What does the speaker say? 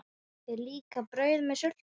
Er líka brauð með sultu?